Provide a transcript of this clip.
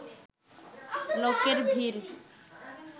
লোকের ভিড়